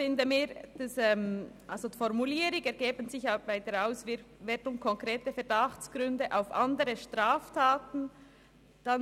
Die Formulierung «Ergeben sich bei der Auswertung konkrete Verdachtsgründe auf andere Straftaten, […